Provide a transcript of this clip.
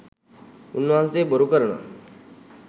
උන්වහන්සේ බොරු කරනවා